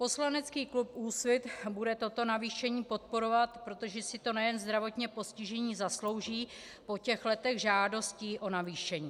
Poslanecký klub Úsvit bude toto navýšení podporovat, protože si to nejen zdravotně postižení zaslouží po těch letech žádostí o navýšení.